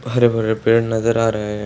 हरे-भरे पेड़ नजर आ रहे हैं।